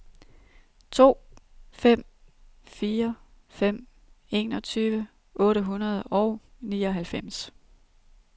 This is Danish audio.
to fem fire fem enogtyve otte hundrede og nioghalvfems